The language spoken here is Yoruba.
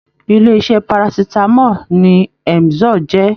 Ilé iṣẹ Parasitamọ ni Emzor jẹ.